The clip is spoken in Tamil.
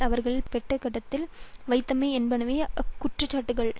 அவரின் பெட்டகத்தில் வைத்தமை என்பனவே அக்குற்றச்சாட்டுகள்